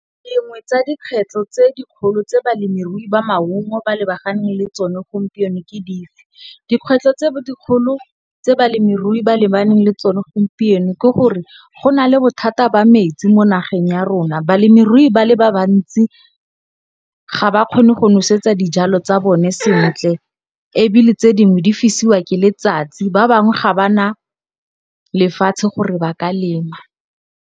Dingwe tsa dikgwetlho tse dikgolo tse balemirui ba maungo ba lebaganeng le tsone gompieno ke dife? Dikgwetlho tse dikgolo tse balemirui ba lebaneng le tsone gompieno ke gore go na le bothata ba metsi mo nageng ya rona, balemirui ba le ba bantsi ga ba kgone go nosetsa dijalo tsa bone sentle ebile, tse dingwe di fisiwa ke letsatsi, ba bangwe ga ba na lefatshe gore ba ka lema.